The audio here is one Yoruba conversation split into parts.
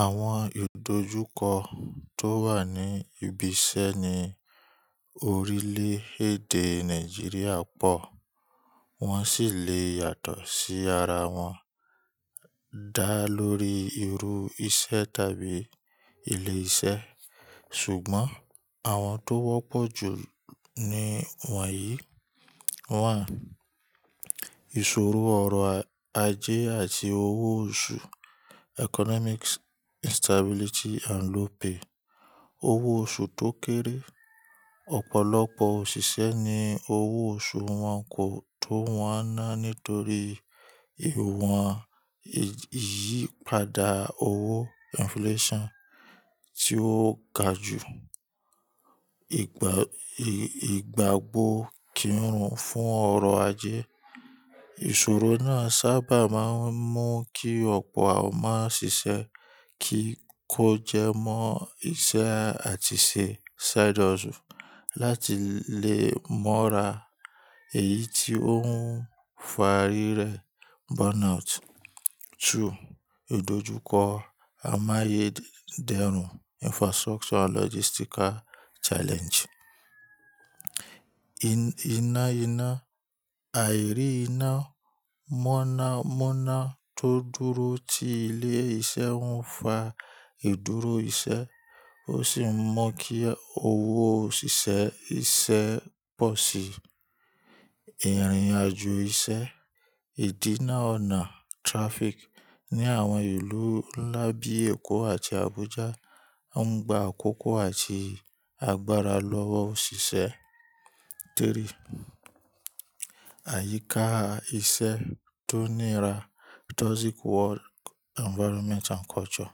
Àwọn ìdójúkọ tó wà ní ibi iṣẹ́ n.í orílẹ̀ èdè Nàìjíríà pọ̀, wọ́n sì le yàtọ̀ sí ara wọn dá lórí irú iṣẹ́ tàbí ilé-iṣẹ́. Ṣùgbọ́n àwọn tó wọ́pọ̀ jù ni wọ̀nyí: 1. Ìṣòro ọrọ̀ ajé àti owó oṣù economics instability and low pay. Owó oṣù tó kéré. Ọ̀pọ̀lọpọ̀ òṣìṣẹ́ ní owó oṣù wọn kò tó wọ́n náà nítorí iwọ̀n ìyípadà owó inflation tí ó ga jù. Ìgbà ìgbàgbó kíirun fún ọrọ̀ ajé. Ìṣòro náà sábà máa ń mú kí ọ̀pọ̀ àwọn ma ṣìṣẹ́ kí kó jẹ mọ́ iṣẹ́ àti ṣe side hustle láti lè mọ́ra, èyí tí ó ń fa rírẹ burnout. 2. Ìdójúkọ amáyé dẹrùn. Infrastructure and logistical challenge iná ina, àìrí iná, mọ̀nàmọ́ná tó dúró ti ilé-iṣẹ́ ń fa ìdúró iṣẹ́ ó sì mú kí owó òṣìṣẹ́ iṣẹ́ pọ̀ sí. Ìrìnàjò iṣẹ́, ìdínà ọ̀nà trafic ní àwọn ìlú ńlá bíi Èkó àti Abuja ń gba àkókò àti agbára lọ́wọ́ òṣìṣẹ́. 3. Àyíká iṣẹ́ tó nira toxic work environment and culture.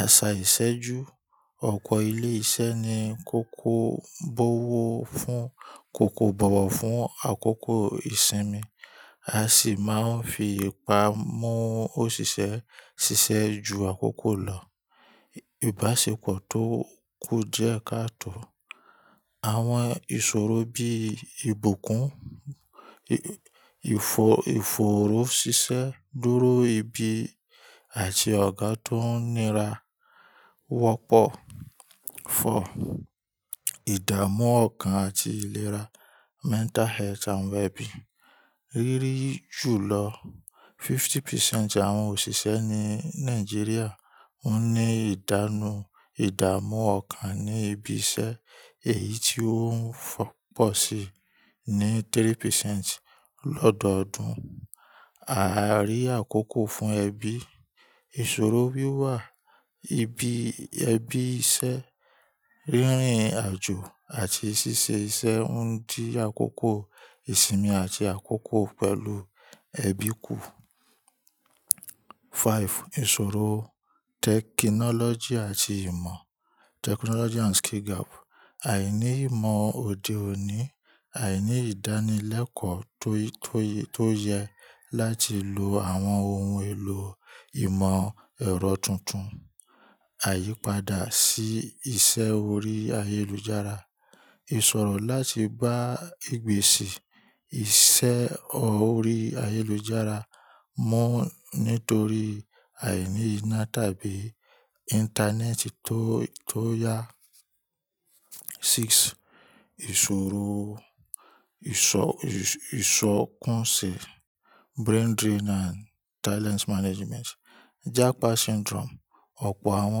Àṣà ìṣèjú. Ọ̀pọ̀ ilé iṣẹ́ ni kòkò bówo fún kòkò bọ̀wọ̀ fún àkókò ìsinmi, a sì máa ń fi ìpa mú òṣìṣẹ́ ṣiṣẹ́ ju àkókò lọ. Ìbáṣepọ̀ tó kú diẹ́ káàtò. Àwọn ìṣòro bí ìbùkún, ìfoorò ṣiṣẹ́ dúró ibi àti ọ̀gá tó nira wọ́pọ̀. 4. Ìdàmú ọkàn àti ìlera mental health and well-being. Rírí ju lọ 50% àwọn òṣìṣẹ́ ní Nàìjíríà woń ní ìdánù ìdàmú ọkàn ní ibi iṣẹ́ èyí tí ó ń pọ̀ sí ní 3% lọ́dọodún. Àìrí àkókò fún ẹbí. Ìṣòro wíwà ibi ẹbí iṣẹ́, rírìn àjò àti ṣíṣe iṣẹ́ ń di àkókò ìsinmi àti àkókò pẹ̀lú ẹbí kù. 5. Ìṣòro tẹkinọ́lọ́jì àti ìmọ̀. Àìní ìmọ̀ òde òní, àìní ìdánilẹ́kọ̀ọ́ tó yẹ láti lo àwọn ohun èlò ìmọ̀ ẹ̀rọ tuntun. Àyípadà sí ìṣe orí ayélujára. Ìṣòro láti gba ìgbésì ìṣe orí ayélujára mú nítorí àìní iná tàbí Íńtánẹ́ẹ̀tì tó yá. 6. Ìṣòro ìṣọkunṣẹ brain drain and talents management. "Jakpa syndrome". Ọ̀pọ̀ àwọn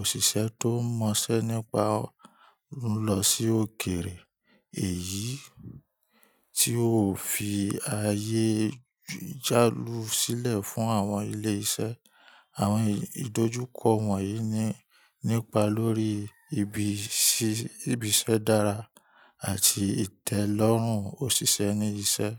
òṣìṣẹ́ tó mọṣẹ́ nípa lọ sí òkèrè, èyí tí ó fi ayé jálù sílẹ̀ fún àwọn ilé iṣẹ́. Àwọn ìdójúkọ wọ̀nyí nípa lórí ibi iṣẹ́ dára àti ìtẹ́lọ́rùn òṣìṣẹ́ ní iṣẹ́.